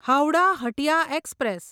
Howrah Hatia express